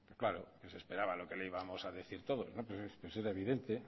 claro que se esperaba lo que les íbamos a decir todos pues era evidente